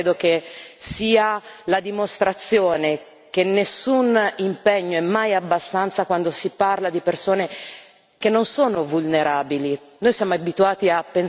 Questo lavoro, credo, sia la dimostrazione che nessun impegno è mai abbastanza quando si parla di persone che non sono vulnerabili.